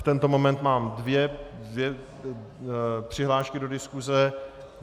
V tento moment mám dvě přihlášky do diskuse.